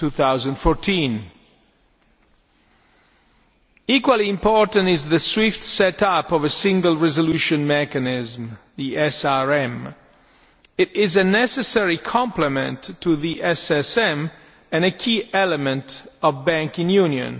2014. Equally important is the swift setting up of a Single Resolution Mechanism, the SRM a necessary complement to the SSM and a key element of banking union.